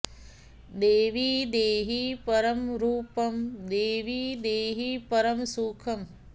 देवि देहि परं रूपं देवि देहि परं सुखम्